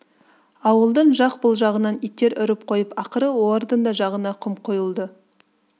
ауылдың жақ бұл жағынан иттер үріп қойып ақыры олардың да жағына құм құйылды